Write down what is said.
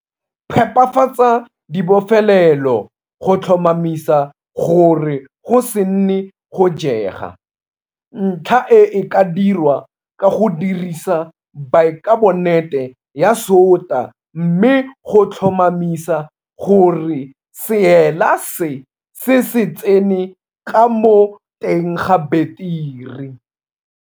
Phepafatsa dibofelelo go tlhomamisa gore go se nne go jega. Ntlha e e ka dirwa ka go dirisa baekabonate ya sota mme tlhomamisa gore seela se se se tsene ka mo teng ga beteri.